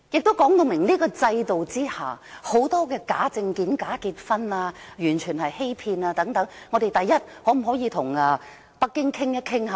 這亦說明在這個制度下會出現很多假證件、假結婚等完全屬欺騙行為，第一，我們可否與北京討論？